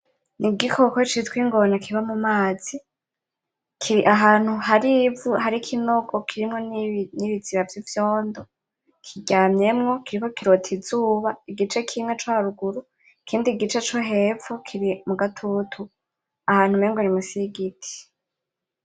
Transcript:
N'igikoko citwa Ingona kiba mu mazi, kiri ahantu hari ivu, hari ikinogo kirimwo n'ibiziba vy'ivyondo, kiryamyemwo kiriko kirota izuba igice kimwe co haruguru, ikindi gice co hepfo kiri mu gatutu, ahantu umengo ni musi y'igiti.